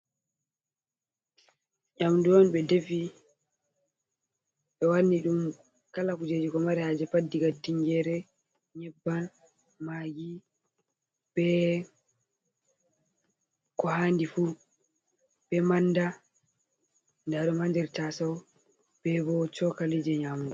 Nyamdu on ɓe defi ɓe wanni ɗum kala kujeji ko mare haje pat, diga tingere, nyebbam, magi, ɓe ko handi fu, ɓe manda. Ndaa ɗum haa nder tasau ɓe bo chokali je nyamugo.